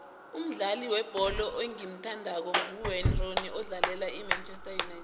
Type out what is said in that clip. umdlali webholo engimuthandako nguwayne rooney odlalela imanchester united